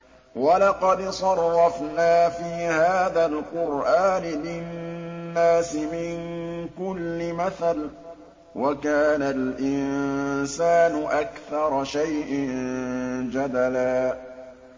وَلَقَدْ صَرَّفْنَا فِي هَٰذَا الْقُرْآنِ لِلنَّاسِ مِن كُلِّ مَثَلٍ ۚ وَكَانَ الْإِنسَانُ أَكْثَرَ شَيْءٍ جَدَلًا